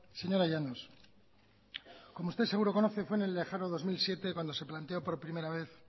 señora llanos como usted seguro conoce fue en el lejano dos mil siete cuando se planteó por primera vez